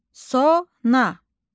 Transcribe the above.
Sona.